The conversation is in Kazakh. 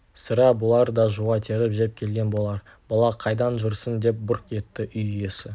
сірә бұлар да жуа теріп жеп келген болар бала қайдан жүрсің деп бұрқ етті үй иесі